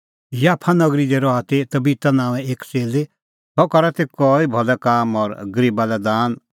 याफा नगरी दी रहा ती तबिता नांओंए एक च़ेल्ली सह करा ती कई भलै काम और गरीबा लै दान